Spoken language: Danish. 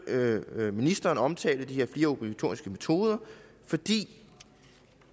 ministeren omtale de her fire obligatoriske metoder fordi